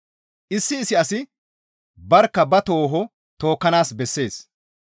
Issi issi asi barkka ba tooho tookkanaas bessees.